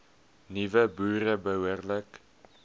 nuwe boere behoorlik